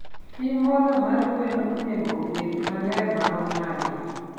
pi modho mar gwen onego obed maler marom nade?